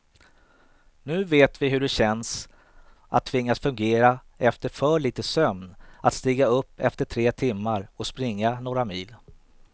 Nu vet vi hur det känns att tvingas fungera efter för lite sömn, att stiga upp efter tre timmar och springa några mil.